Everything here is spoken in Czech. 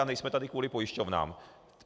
A nejsme tady kvůli pojišťovnám.